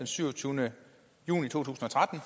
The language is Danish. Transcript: syvogtyvende juni to tusind og tretten